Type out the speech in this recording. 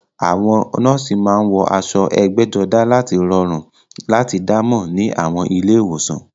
Àwọn nọ́ọ̀sì máa ń wọ aṣọ ẹgbẹ́jọdá láti rọrùn láti dá mọ̀ ní àwọn ilé ìwòsàn